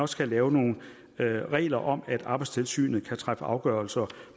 skal lave nogle regler om at arbejdstilsynet kan træffe afgørelser